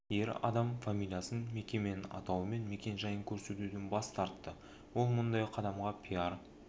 ер адам фамилиясын мекеменің атауы мен мекен-жайын көрсетуден бас тартты ол мұндай қадамға пиар